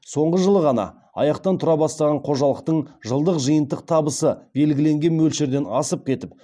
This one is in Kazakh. соңғы жылы ғана аяқтан тұра бастаған қожалықтың жылдық жиынтық табысы белгіленген мөлшерден асып кетіп